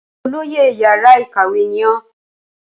Ṣé olóyè yàrá ìkàwé ní ó?